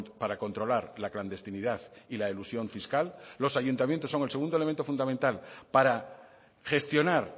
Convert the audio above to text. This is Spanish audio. para controlar la clandestinidad y la elusión fiscal los ayuntamientos son el segundo elemento fundamental para gestionar